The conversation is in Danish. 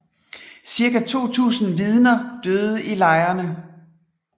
Cirka 2000 Vidner døde i lejrene